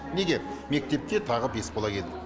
неге мектепке тағы бес бала келді